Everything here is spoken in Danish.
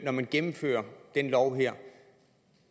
når man gennemfører den lov her